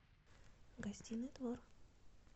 гостиный двор